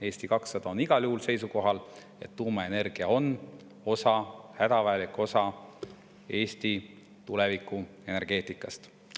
Eesti 200 on igal juhul seisukohal, et tuumaenergia on hädavajalik osa Eesti tulevikuenergeetikast.